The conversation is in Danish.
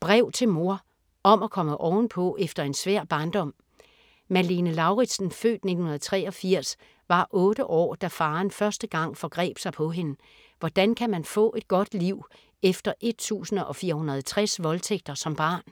Brev til mor: om at komme ovenpå efter en svær barndom Malene Lauritsen (f. 1983) var otte år, da faren første gang forgreb sig på hende. Hvordan kan man få et godt liv efter 1460 voldtægter som barn?